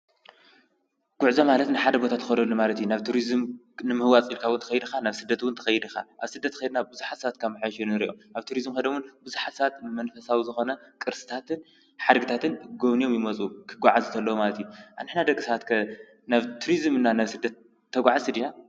ጕዕዞ ማለት ንሓደ ቦታ ተኸዶ ማለቲ ናብ ቱርዝም ንምህዋፂልካውንቲ ኸይድኻ ናብ ሥደትውንቲኸይድኻ ኣብ ሥደት ኸይድና ብዙኃሳትካም ኣሽኑን ንርኦም ኣብ ቱርዝም ኸደሙን ብዙኃሳት መንፈሳዊ ዝኾነ ቅርስታትን ሓድግታትን ጐብንዮም ይመጹ ክጐዓ ዘተሎዉማልት ኣንሕና ደግሳትከ ናብቱርዝምና ናብስደት ተጕዓ ስዲና?